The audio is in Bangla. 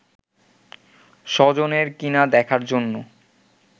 স্বজনের কিনা দেখার জন্য